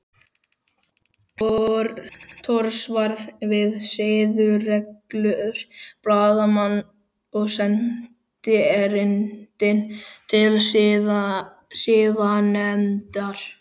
Thors varða við siðareglur blaðamanna og sendi erindi til siðanefndar